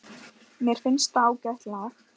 Mér finnst það ágætt lag.